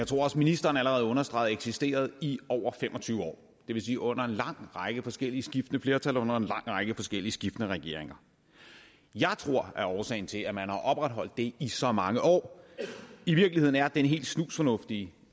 tror ministeren allerede understregede eksisteret i over fem og tyve år det vil sige under en lang række forskellige og skiftende flertal og under en lang række forskellige og skiftende regeringer jeg tror at årsagen til at man har opretholdt det i så mange år i virkeligheden er helt snusfornuftig